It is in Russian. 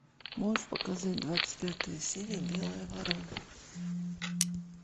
можешь показать двадцать пятая серия белая ворона